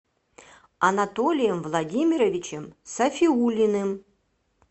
анатолием владимировичем сафиуллиным